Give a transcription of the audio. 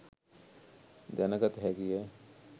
දැන ගත හැකි ය.